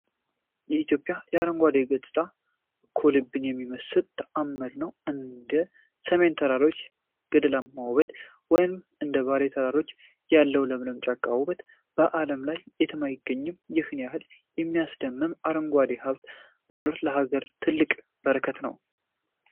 የኢትዮጵያ አረንጓዴ ገጽታ እኮ ልብን የሚመስጥ ተዓምር ነው! እንደ ሰሜን ተራሮች ገደላማ ውበት ወይም እንደ ባሌ ተራሮች ያለው ለምለም ጫካ ውበት በዓለም ላይ የትም አይገኝም። ይህን ያህል የሚያስደምም አረንጓዴ ሀብት መኖሩ ለሀገራችን ትልቅ በረከት ነው!